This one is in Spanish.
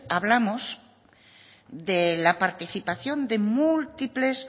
hablamos de la participación de múltiples